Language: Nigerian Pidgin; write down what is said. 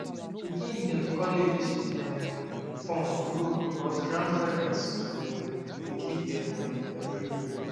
pikin dem college um fund grow because grandparents um dey give them moni every year